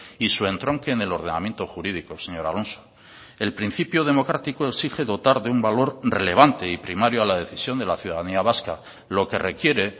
y su entronque en el ordenamiento jurídico señor alonso el principio democrático exige dotar de un valor relevante y primario a la decisión de la ciudadanía vasca lo que requiere